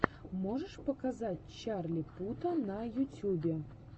можешь показать чарли пута на ютюбе